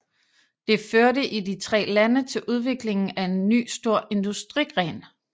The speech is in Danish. Det førte i de tre lande til udviklingen af en ny stor industrigren